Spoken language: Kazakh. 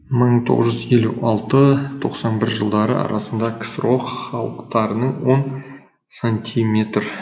мың тоғыз жүз елу алтын тоқсан бір жылдар арасында ксро халықтарының он сантиметр